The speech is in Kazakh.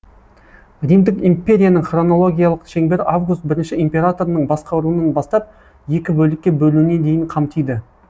римдік империяның хронологиялық шеңбері август бірінші императорының басқаруынан бастап екі бөлікке бөлуіне дейін қамтиды